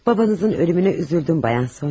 Babanızın ölümünə üzüldüm, bayan Sonya.